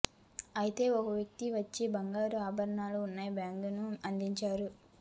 అయితే ఓ వ్యక్తి వచ్చి బంగారు ఆభరణాలు ఉన్న బ్యాగును అందించాడు